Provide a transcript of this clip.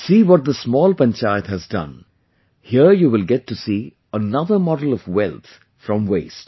See what this small panchayat has done, here you will get to see another model of wealth from the Waste